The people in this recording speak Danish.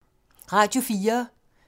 Radio 4